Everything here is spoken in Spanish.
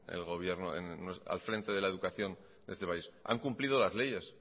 al frente de la educación de este país han cumplido las leyes